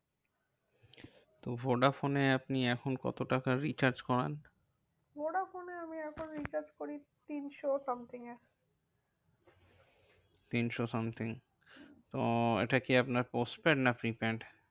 তো ভোডাফোনে আপনি এখন কত টাকার recharge করান? ভোডাফোনে আমি এখন recharge করি তিনশো something এ তিনশো something তো এটা কি আপনার postpaid না prepaid?